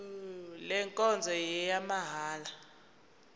le nkonzo ngeyamahala